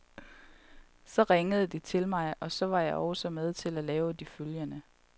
Så ringede de til mig, og så var jeg også med til at lave de følgende.